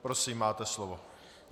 Prosím, máte slovo.